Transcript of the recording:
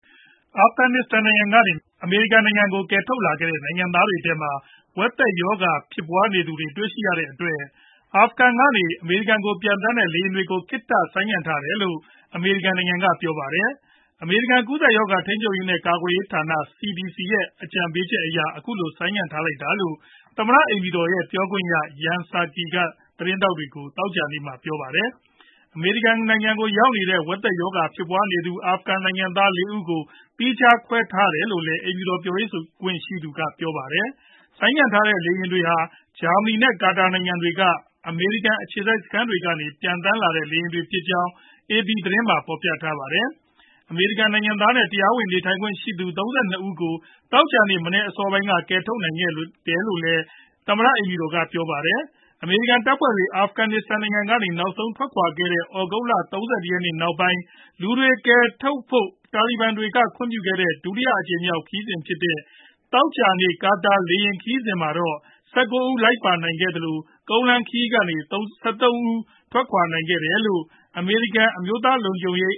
အာဖဂန်နစ္စတန်နိုင်ငံကနေ အမေရိကန်နိုင်ငံကို ကယ်ထုတ်လာခဲ့တဲ့ နိုင်ငံသားတွေထဲမှာ ဝက်သက်ရောဂါဖြစ်ပွားနေသူတွေ တွေ့ရှိရတဲ့အတွက် အာဖဂန်ကနေ အမေရိကန်ကို ပျံသန်းတဲ့လေယာဉ်တွေကို ခေတ္တဆိုင်းငံထားလိုက်တယ်လို့ အမေရိကန် ကေ ပြာပါတယ်။ အမေရိကန် ကူးစက်ရောဂါ ထိန်းချုပ်ရေးနဲ့ ကာကွယ်ရေးဌာန CDC ရဲ့ အကြံပေးချက်အရ အခုလို ဆိုင်းငံ့ထားလိုက်တာလို့ သမ္မတအိမ်ဖြူ ပြောခွင့်ရ Jen Psaki က သတင်းထောက်တွေကို သောကြာနေ့မှာ ပြောပါတယ်။ အမေရိကန်နိုင်ငံကို ရောက်နေတဲ့ ဝက်သက်ရောဂါဖြစ်ပွားနေသူ အာဖဂန်နိုင်ငံသား ၄ ဦးကို သီးခြားခွဲထားတယ်လို့လ ည်း အိမ်ဖြူတော် ပြောခွင့်ရကပြောပါတယ်။ ဆိုင်းငံ့ထားတဲ့ လေယာဉ်တွေဟာ ဂျာမနီနဲ့ ကာတာနိုင်ငံတွေက အမေရိကန် အခြေစိုက်စခန်းတွေကနေ ပျံသန်းလာတဲ့ လေယာဉ်တွေဖြစ်ကြောင်း အေပီသတင်းမှာ ဖော်ပြထားပါတယ်။ အမေရိကန်နိုင်ငံသားနဲ့ တရားဝင်နေထိုင်ခွင့်ရှိသူ ၃၂ ဦးကို သောကြာနေ့မနက်အစောပိုင်းက ကယ်ထုတ်နိုင်ခဲ့တယ်လို့လည်း သမ္မတအိမ်ဖြူတော်က ပြောပါတယ်။ အမေရိကန်တပ်ဖွဲ့တွေ အာဖဂန်နစ္စတန်နိုင်ငံကနေ နောက်ဆုံးထွက်ခွာခဲ့တဲ့ သြဂုတ်လ ၃၁ရက်နေ့နောက်ပိုင်း လူတွေ ကယ်ထုတ်ဖို့ တာလီဘန်တွေက ခွင့်ပြုခဲ့တဲ့ ဒုတိယအကြိမ်မြောက်ခရီးစဉ်ဖြစ်တဲ့ သောကြာနေ့ က ကာတာ လေယာဉ်ခရီးစဉ်မှာတော့ ၁၉ ဦး လိုက်ပါနိုင်ခဲ့သလို ကုန်လမ်းခရီးကလည်း ၁၃ဦး ထွက်ခွါနိုင်ခဲ့တယ်လို့ အမေရိကန် အမျိုးသား လုံခြုံရေ